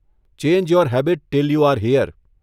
Change your habit till you are here.